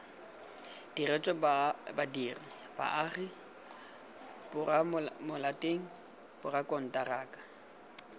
diretswe badiri baagi baromelateng borakonteraka